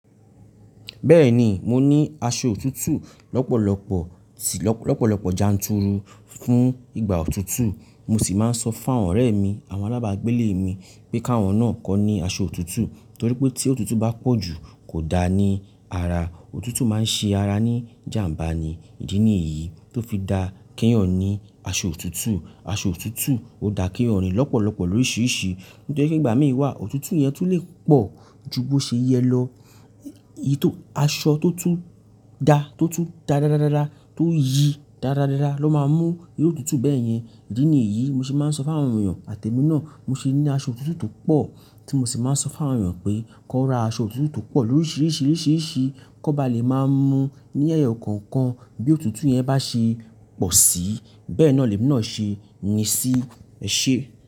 Bẹ́ẹ̀ni, mo ní aṣọ òtútù lọ́pọ̀lọpọ̀ sì lọ́pọ̀lọpọ̀ janturu fún ìgbà òtútù, mo sì máa ń sọ fún àwọn ọ̀rẹ́ mi, àwọn alábàágbélé mi pé káwọn náà kan ni aṣọ òtútù torí pé tí òtútù bá pọ̀ jù kò da ní ara, òtútù máa ń ṣe ara ní ijàmbá ni. Ìdí ni yí tó fi da ki ẹ́yan ni aṣọ òtútù, aṣọ òtútù ò dá ki ẹ́yan ni lọ́pọ̀lọpọ̀ lóríṣìíríṣìí. Nitoripe ígbà mí wà òtútù yẹn tú lè pọ̀ ju bó ṣe yẹ lọ. Aṣọ tó tún da tó tún dáadáada tó yí dáadáa ló máa mú irú òtútù bẹ́ẹ̀ yẹn. Ìdí ni èyí mo sì máa ń sọ fún àwọn èèyàn àtẹmi náà mo se ní aṣọ òtútù tó pọ̀ tí mo sì máa ń sọ fún àwọn èèyàn pé kan ra aṣọ òtútù tó pọ̀ lóríṣìíríṣìí, lóríṣìíríṣìí kó ba lè máa mú ní ẹ̀yo ọ̀kọ̀ọ̀kan bí òtútù yẹn bá ṣe pọ̀ sí bẹ́ẹ̀ náà lè mi náà ṣe ni sí ẹse.